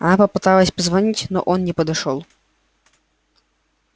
она попыталась позвонить но он не подошёл